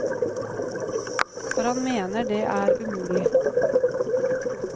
For han mener det er umulig.